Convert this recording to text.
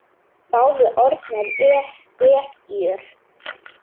Báðar orðnar ekkjur.